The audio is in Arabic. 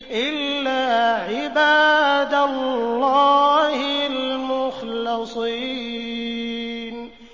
إِلَّا عِبَادَ اللَّهِ الْمُخْلَصِينَ